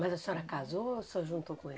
Mas a senhora casou ou só juntou com ele?